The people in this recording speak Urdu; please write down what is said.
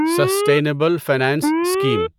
sustainable finance scheme